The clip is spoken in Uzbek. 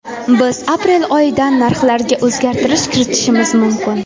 Biz aprel oyidan narxlarga o‘zgartirish kiritishimiz mumkin.